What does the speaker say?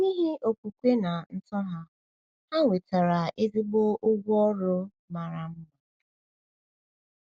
N’ihi okwukwe na ntobedience ha, ha nwetara ezigbo ụgwọ ọrụ mara mma.